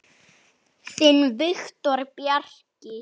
Þinn Viktor Bjarki.